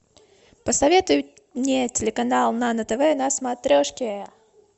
посоветуй мне телеканал нано тв на смотрешке